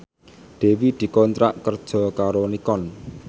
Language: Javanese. Dewi dikontrak kerja karo Nikon